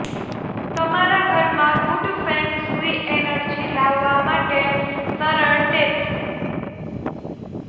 તમારા ઘરમાં good feng shui energy લાવવા માટે સરળ ટીપ્સ